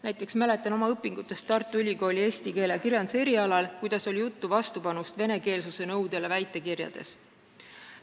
Näiteks mäletan oma õpingutest Tartu Ülikooli eesti keele ja kirjanduse erialal, kuidas oldi vastu venekeelsuse nõudele väitekirjade puhul.